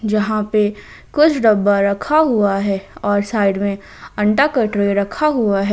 यहां पे कुछ डब्बा रखा हुआ है और साइड में अंडा का ट्रे रखा हुआ है।